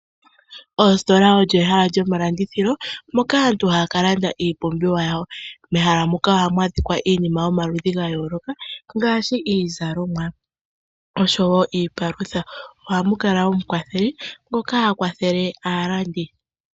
Oositola olyo ehala lyo malindithilo moka aantu haa kalanda iipumbiwa yawo. Mehala muka ohamu adhika iinima yomaludhi gayooloka ngaashi iizalomwa osho woo iipalutha, ohamu kala omukwatheli ngoka ha kwathele aalandi.